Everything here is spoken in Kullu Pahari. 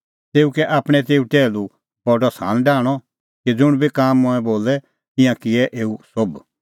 तेऊ कै आपणैं तेऊ टैहलूओ बडअ सान डाहंणअ कि ज़ुंण बी काम मंऐं बोलै ईंयां किऐ एऊ सोभ